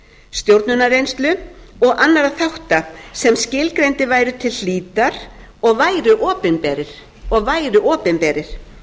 stjórnunarreynslu og annarra þátta sem skilgreindir væru til hlítar og væru opinberir